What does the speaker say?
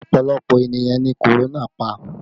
Ọpọlọpọ ènìyàn ni korona pa